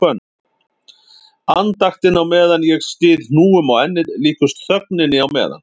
Andaktin á meðan ég styð hnúum á ennið líkust þögninni á meðan